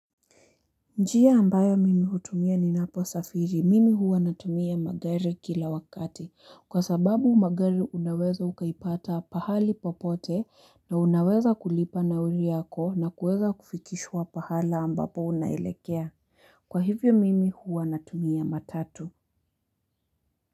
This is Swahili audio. Njia ambayo mimi hutumia ni napo safiri. Mimi huwa natumia magari kila wakati. Kwa sababu magari unaweza ukaipata pahali popote na unaweza kulipa nauri yako na kueza kufikishwa pahala ambapo unaelekea. Kwa hivyo mimi huwa natumia matatu.